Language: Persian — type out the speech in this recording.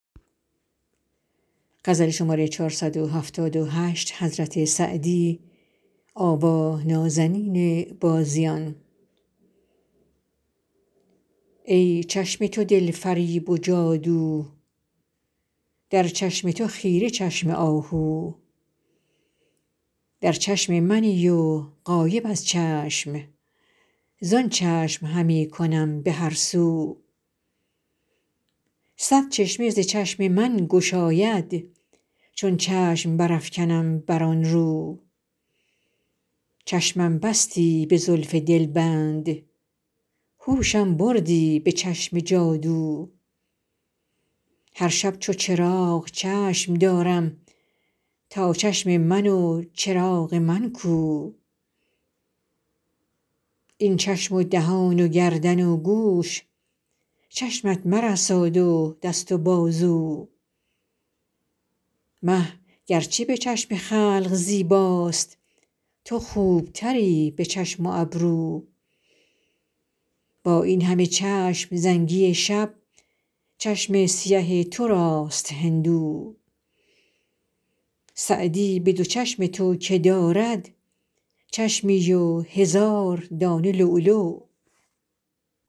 ای چشم تو دل فریب و جادو در چشم تو خیره چشم آهو در چشم منی و غایب از چشم زآن چشم همی کنم به هر سو صد چشمه ز چشم من گشاید چون چشم برافکنم بر آن رو چشمم بستی به زلف دلبند هوشم بردی به چشم جادو هر شب چو چراغ چشم دارم تا چشم من و چراغ من کو این چشم و دهان و گردن و گوش چشمت مرساد و دست و بازو مه گر چه به چشم خلق زیباست تو خوب تری به چشم و ابرو با این همه چشم زنگی شب چشم سیه تو راست هندو سعدی به دو چشم تو که دارد چشمی و هزار دانه لولو